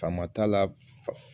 Faama t'a la fa